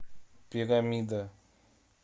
пирамида